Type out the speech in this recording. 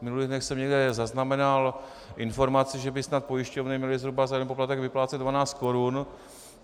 V minulých dnech jsem někde zaznamenal informaci, že by snad pojišťovny měly zhruba za jeden poplatek vyplácet 12 korun.